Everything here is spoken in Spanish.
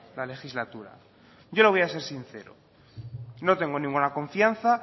la legislatura yo le voy a ser sincero no tengo ninguna confianza